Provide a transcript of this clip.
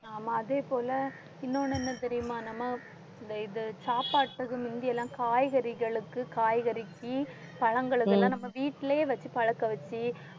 நாம அதே போல இன்னொன்னு என்ன தெரியுமா? நம்ம இந்த இது சாப்பாட்டுக்கு முந்தியெல்லாம் காய்கறிகளுக்கு, காய்கறிக்கு, பழங்களுக்கு எல்லாம் நம்ம வீட்டிலயே வச்சு பழக்க வச்சு